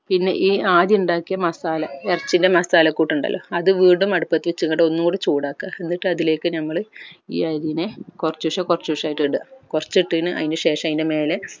പിന്നെ ഈ ആദ്യം ഇണ്ടാക്കിയ masala എർച്ചിൻ്റെ masala കൂട്ട് ഇണ്ടല്ലോ അത് വീണ്ടും അടുപ്പത് വെച്ചങ്ങാണ്ട്‌ ഒന്നുംകൂടെ ചൂടാകാ എന്നിട്ട് അതിലേക്ക് നമ്മൾ ഈ അരിനെ കൊർചൂശെ കൊർചൂശെ ആയിട്ട് ഇടുക കൊർച്ച് ഇട്ടയ്‌ന അയിന്ശേഷം അയ്ൻ്റെ മേലെ